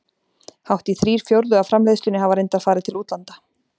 Hátt í þrír fjórðu af framleiðslunni hafa reyndar farið til útlanda.